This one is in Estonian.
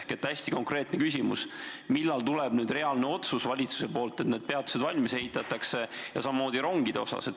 Mul on hästi konkreetne küsimus: millal tuleb valitsuselt reaalne otsus, et need peatused valmis ehitatakse, ja samamoodi ka rongide kohta?